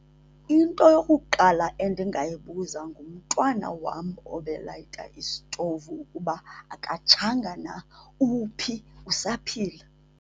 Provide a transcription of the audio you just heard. Into eyokuqala endingayibuza ngumntwana wam obelayita isitovu ukuba akatshanga na, uphi, usaphila.